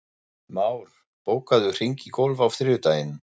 Már, bókaðu hring í golf á þriðjudaginn.